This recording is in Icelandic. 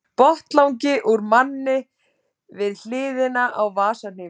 Botnlangi úr manni við hliðina á vasahníf.